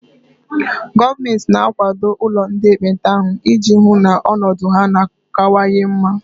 Gọọmenti na akwado ụlọ ndị ekpenta ahụ ị ji hụ na ọnọdụ ha na kanwanye mma